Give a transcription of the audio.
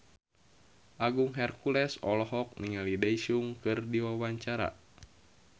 Agung Hercules olohok ningali Daesung keur diwawancara